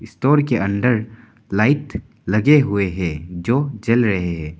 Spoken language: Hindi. स्टोर के अंदर लाइट लगे हुए हैं जो जल रहे हैं।